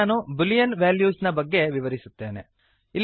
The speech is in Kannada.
ಈಗ ನಾನು ಬೂಲಿಯನ್ ವೆಲ್ಯೂಸ್ ನ ಬಗ್ಗೆ ವಿವರಿಸುತ್ತೇನೆ